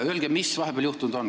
Öelge, mis vahepeal on juhtunud.